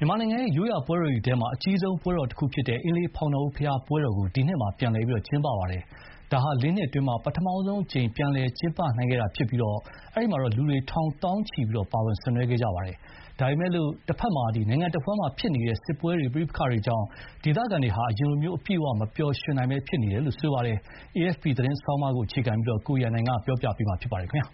မြန်မာနိုင်ငံရဲ့ ရိုးရာပွဲတော်တွေထဲမှာ အကြီးဆုံးပွဲတော်တခုဖြစ်တဲ့ အင်းလေးဖောင်တော်ဦးဘုရားပွဲတော်ကို ဒီနှစ်မှာ ပြန်လည် ကျင်းပခဲ့ပါတယ်။ ဒါဟာ ၄ နှစ်အတွင်း ပထမဆုံးအကြိမ် ပြန်လည်ကျင်းပနိုင်ခဲ့တာဖြစ်ပြီး လူတွေ ထောင်၊ သောင်းချီ ပါဝင် ဆင်နွှဲခဲ့ကြပါတယ်။ ဒါပေမဲ့ တဘက်မှာလည်း နိုင်ငံတဝန်းမှာဖြစ်နေတဲ့ စစ်ပွဲတွေကြောင့် ဒေသခံတွေဟာ အရင်လို အပြည့်အ၀ မပျော်ရွှင်နိုင်ဘဲ ဖြစ်နေကြပါတယ်။ AFP သတင်းဆောင်းပါးကို အခြေခံပြီး ကိုရန်နိုင်က တင်ပြပေးထားပါတယ်။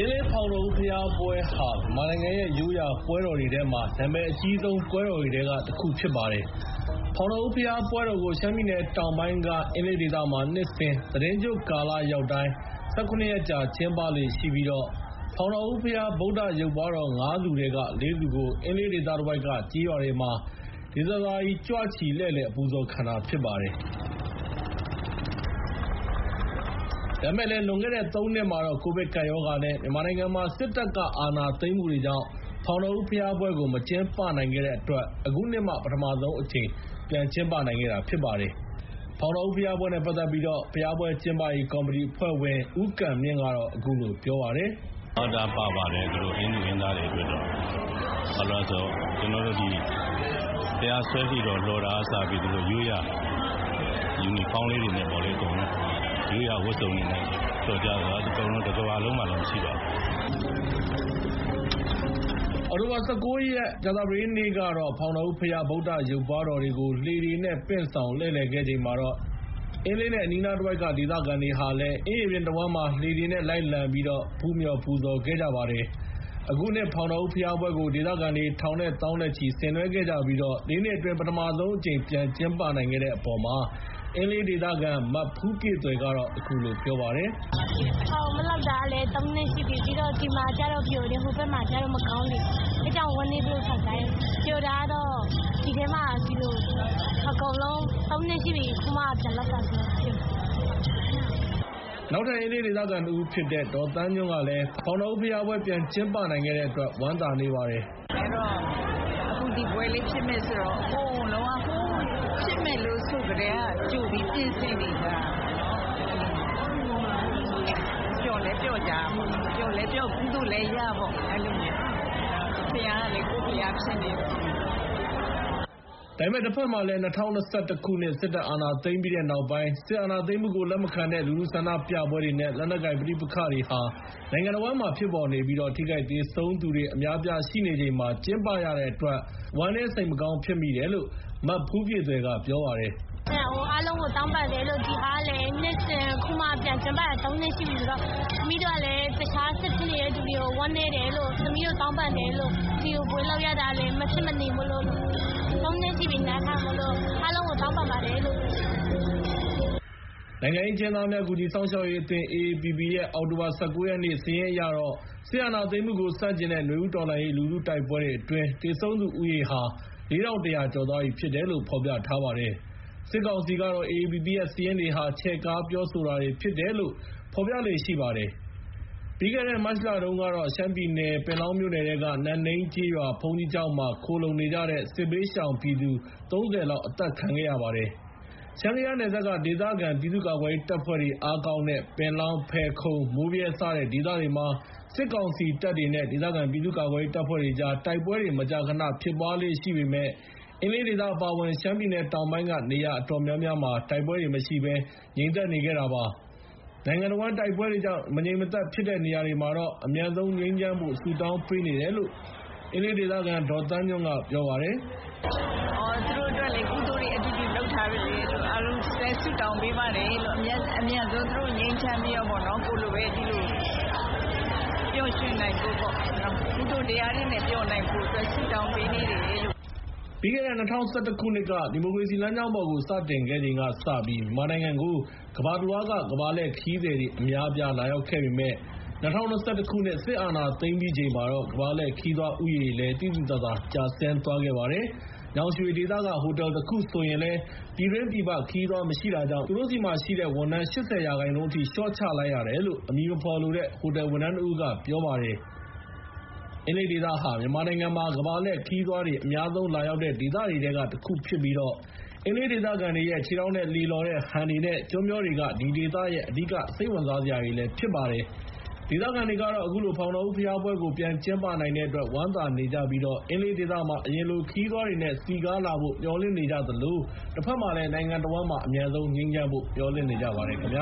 အင်းလေးဖောင်တော်ဦးဘုရားပွဲဟာ မြန်မာနိုင်ငံရဲ့ ရိုးရာပွဲတော်တွေထဲမှာ နာမည်အကြီးဆုံးပွဲတော်တွေထဲက တခုဖြစ်ပါတယ်။ ဖောင်တော်ဦးဘုရားပွဲတော်ကို ရှမ်းပြည်တောင်ပိုင်းက အင်းလေးဒေသမှာ နှစ်စဉ် သီတင်းကျွတ်ကာလရောက်တိုင်း ၁၇ ရက်ကြာ ကျင်းပလေ့ရှိပြီး ဖောင်တော်ဦးဘုရား ဗုဒ္ဓရုပ်ပွါးတော် ၅ ဆူထဲက ၄ ဆူကို အင်းလေးဒေသတဝိုက်က ကျေးရွာတွေမှာ ဒေသစာရီလှည့်လည် အပူဇော်ခံတာဖြစ်ပါတယ်။ ဒါပေမဲ့လည်း လွန်ခဲ့တဲ့ ၃ နှစ်မှာတော့ ကိုဗစ်ကပ်ရောဂါ နဲ့ မြန်မာနိုင်ငံမှာ စစ်တပ်က အာဏာသိမ်းမှုတွေကြောင့် ဖောင်တော်ဦးဘုရားပွဲကို မကျင်းပနိုင်ခဲ့ဘဲ အခုနှစ်မှ ပထမဆုံးအကြိမ် ပြန်ကျင်းပနိုင်ခဲ့တာဖြစ်ပါတယ်။ အောက်တိုဘာ ၁၉ ရက် ကြာသပတေးနေ့ကတော့ ဖောင်တော်ဦးဘုရား ဗုဒ္ဓရုပ်ပွါးတော်တွေကို လှေတွေနဲ့ ပင့်ဆောင်လှည့်လည်ခဲ့ချိန်မှာတော့ အင်းလေးနဲ့ အနီးနားတဝိုက်က ဒေသခံတွေဟာလည်း အင်းရေပြင်တဝန်း လှေတွေနဲ့ လိုက်လံပြီးတော့ ဖူးမြော်ပူဇော် ခဲ့ကြပါတယ်။ အခုနှစ်ဖောင်တော်ဦးဘုရားပွဲကို ဒေသခံတွေ ထောင်နဲ့သောင်းနဲ့ချီ ဆင်နွဲခဲ့ကြပြီး၊ ၄ နှစ်အတွင်း ပထမဆုံးအကြိမ် ပြန်ကျင်းပနိုင်ခဲ့တဲ့အပေါ် အင်းလေးဒေသခံ မဖူးပြည့်သွယ်ကတော့ အခုလို ပြောပါတယ်။ “မလုပ်တာကတော့ သုံးနှစ်ရှိပြီ။ ဒီဘက်မှာကျတော့ ပျော်တယ်။ ဟိုဘက်မှာကျတော့ မကောင်းနေဘူး။ အဲဒါကြောင့် ဝမ်းနည်းတယ်။ ပျော်တာကတော့ ဒီထဲမှာ ဒီလို.. သုံးနှစ်ရှိပြီ၊ အခုမှ ပြန်လုပ်တာဆိုတော့ ပျော်တယ်။” အင်းလေးဒေခံတဦးဖြစ်တဲ့ ဒေါ်သန်းညွန့်ကလည်း ဖောင်တော်ဦးဘုရားပွဲ ပြန်ကျင်းပနိုင်တဲ့အတွက် ဝမ်းသာနေပါတယ်။ “အခု ဒီပွဲလေးဖြစ်မယ်ဆိုတော့ ဟိုး ဖြစ်မယ်လို့ဆိုကတည်းက ကြိုပြီး ပြင်ဆင်နေကြတာပေါ့နော်။ အဲလိုမျိုး။ ပျော်လည်းပျော်ကြတာပေါ့နော်။ ပျော်လည်းပျော်။ ကုသိုလ်လည်းရပေါ့- အဲလိုမျိုး။ ဘုရားကလည်း ကိုယ့်ဘုရားဖြစ်နေတော့..” ဒါပေမဲ့ တဘက်မှာလည်း ၂၀၂၁ စစ်တပ်ကအာဏာသိမ်းပြီးတဲ့နောက်ပိုင်း စစ်အာဏာသိမ်းမှုကို လက်မခံတဲ့ လူထုဆန္ဒပြပွဲတွေ နဲ့ လက်နက်ကိုင် ပဋိပက္ခတွေဟာ နိုင်ငံတဝန်းမှာဖြစ်ပေါ်နေပြီး၊ ထိခိုက်၊ သေဆုံးသူတွေ အများအပြားရှိနေချိန်မှာ ကျင်းပရတဲ့အတွက် ဝမ်းနည်းစိတ်မကောင်းဖြစ်မိတယ်လို့ မဖူးပြည့်သွယ်က ပြောပါတယ်။ “အားလုံးကိုတောင်းပန်တယ်...လို့။ ဒီဟာကလည်း နှစ်စဥ် အခုမှ ပြန်ကျင်းပရတာ။ သုံးနှစ်ရှိပြီဆိုတော့။ သမီးတို့ကလည်း တခြား စစ်ဖြစ်နေတဲ့သူတွေကို ဝမ်းနည်းတယ်-လို့။ သမီးတို့ တောင်းပန်တယ်လို့။ ဒီလို ပွဲလုပ်ရတာလည်း မဖြစ်မနေမို့လို့...သုံးနှစ်ရှိပြီ၊ နားထားတာမို့လို့။ အားလုံးကို တောင်းပန်ပါတယ်လို့။” နိုင်ငံရေးအကျဉ်းသားများကူညီစောင့်ရှောက်ရေးအသင်း ရဲ့ အောက်တိုဘာ ၁၉ ရက်နေ့ စာရင်းအရတော့ စစ်အာဏာသိမ်းမှုကို ဆန့်ကျင်တဲ့နွေဦးတော်လှန်ရေး လူထုတိုက်ပွဲအတွင်း သေဆုံးသူဦးရေဟာ ၄,၁၀၀ ကျော်သွားပြီဖြစ်တယ်လို့ ဖော်ပြထားပါတယ်။ စစ်ကောင်စီကတော့ AAPP ရဲ့ စာရင်းတွေဟာ ချဲ့ကားပြောဆိုတာတွေဖြစ်တယ်လို့ ဖော်ပြလေ့ရှိပါတယ်။ ပြီးခဲ့တဲ့ မတ်လတုန်းက ရှမ်းပြည်နယ် ပင်လောင်းမြို့နယ်ထဲက နန့်နိန်းရွာ ဘုန်းကြီးကျောင်းမှာ ခိုလှုံနေကြတဲ့ စစ်ဘေးရှောင်ပြည်သူ ၃၀ လောက် အသတ်ခံခဲ့ရပါတယ်။ ရှမ်း ကယားနယ်စပ်က ဒေသခံပြည်သူတွေ ကာကွယ်ရေးတပ်ဖွဲ့တွေ အားကောင်းတဲ့ ပင်လောင်း ဖယ်ခုံ မိုးဗြဲစတဲ့ ဒေသတွေမှာ စစ်ကောင်စီတပ်တွေနဲ့ ဒေသခံပြည်သူ့ကာကွယ်ရေး တပ်ဖွဲ့တွေကြား တိုက်ပွဲတွေ မကြာခဏဖြစ်ပွားလေ့ရှိပေမယ့် အင်းလေးဒေသ အပါအဝင် ရှမ်းပြည်နယ်တောင်ပိုင်းက နေရာ အတော်များများ တိုက်ပွဲတွေမရှိဘဲ ငြိမ်သက်နေခဲ့တာပါ။ နိုင်ငံတဝန်း တိုက်ပွဲတွေကြောင့် မငြိမ်မသက်ဖြစ်နေတဲ့နေရာတွေမှာ အမြန်ဆုံးငြိမ်းချမ်းဖို့ ဆုတောင်းပေးနေတယ်လို့ ဒေါ်သန်းညွန့်က ပြောပါတယ်။ “သူတို့အတွက်လည်း ကုသိုလ်တွေအတူတူလုပ်ထားတော့ အားလုံးအတွက် ဆုတောင်းပေးပါတယ်လို့။ အမြန်ဆုံး သူတို့ငြိမ်းချမ်းပြီးတော့ ကိုယ်တွေလိုပဲ ဒီလို ပျော်ရွှင်နိုင်ဖို့ပေါ့။ ကုသိုလ်တရားတွေနဲ့ပျော်နိုင်ဖို့အတွက် ဆုတောင်းပေးနေတယ်လို့။” ၂၀၁၁ က ဒီမိုကရေစီလမ်းကြောင်းပေါ်ကို စတင်ခဲ့ချိန်ကစပြီး မြန်မာနိုင်ငံကို ကမ္ဘာတလွှားက ကမ္ဘာလှည့်ခရီးသည်တွေ အများအပြား လာရောက်ခဲ့ပေမယ့် ၂၀၂၁ စစ်တပ်အာဏာသိမ်းပြီးချိန်မှာတော့ ကမ္ဘာလှည့်ခရီးသွားဦးရေလည်း သိသိသာသာကျဆင်းသွားခဲ့ပါတယ်။ ညောင်ရွှေဒေသက ဟိုတယ်တခုဆိုရင် ပြည်တွင်းပြည်ပ ခရီးသွားမရှိတာကြောင့် သူတို့ဆီမှာရှိတဲ့ ဝန်ထမ်း ၈၀ % အထိ လျှော့ချလိုက်ရတယ်လို့ အမည်မဖော်လိုတဲ့ ဟိုတယ်ဝန်ထမ်းတဦးက ပြောပါတယ်။ အင်းလေးဒေသဟာ မြန်မာနိုင်ငံမှာ ကမ္ဘာလှည့်ခရီးသွားတွေ အများဆုံးလာရောက်တဲ့ဒေသတွေထဲကတခုဖြစ်ပြီး အင်းလေးဒေသခံတွေရဲ့ ခြေထောက်နဲ့ လှေလှော်တဲ့ဟန်တွေ နဲ့ ကျွန်းမျောတွေက ဒီဒေသရဲ့ အဓိက စိတ်ဝင်စားစရာတွေပဲ ဖြစ်ပါတယ်။ ဒေသခံတွေကတော့ အခုလို ဖောင်တော်ဦးဘုရားပွဲကို ပြန်ကျင်းပနိုင်တဲ့အတွက် ဝမ်းသာနေကြပြီး အင်းလေးဒေသမှာ အရင်လို ခရီးသွားတွေနဲ့ စည်ကားလာဖို့ မျှော်လင့်နေကြသလို တဘက်မှာလည်း နိုင်ငံတဝန်းမှာ အမြန်ဆုံးငြိမ်းချမ်းဖို့ မျှော်လင့်နေကြပါတယ်ခင်ဗျ